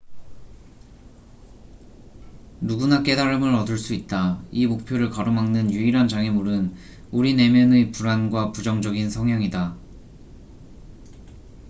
누구나 깨달음을 얻을 수 있다 이 목표를 가로막는 유일한 장애물은 우리 내면의 불안과 부정적인 성향이다